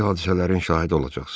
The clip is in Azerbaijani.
Böyük hadisələrin şahidi olacaqsınız.